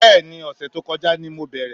Bẹ́ẹ̀ni, ọ̀sẹ̀ tó kọjá ni mo bẹ̀rẹ̀